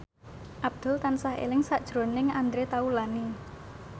Abdul tansah eling sakjroning Andre Taulany